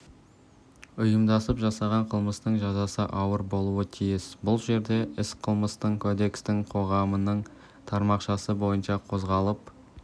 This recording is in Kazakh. ұйымдасып жасаған қылмыстың жазасы ауыр болуы тиіс бұл жерде іс қылмыстық кодекстің тармағының тармақшасы бойынша қозғалып